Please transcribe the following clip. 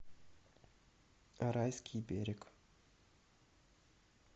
райский берег